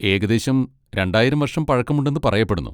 ഏകദേശം രണ്ടായിരം വർഷം പഴക്കമുണ്ടെന്ന് പറയപ്പെടുന്നു.